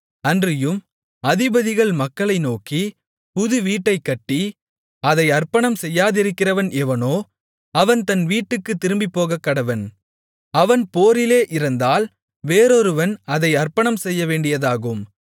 அன்றியும் அதிபதிகள் மக்களை நோக்கி புதுவீட்டைக் கட்டி அதை அர்ப்பணம் செய்யாதிருக்கிறவன் எவனோ அவன் தன் வீட்டுக்குத் திரும்பிப்போகக்கடவன் அவன் போரிலே இறந்தால் வேறொருவன் அதை அர்ப்பணம் செய்யவேண்டியதாகும்